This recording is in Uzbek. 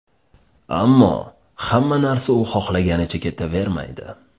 Ammo hamma narsa u xohlaganicha ketavermaydi.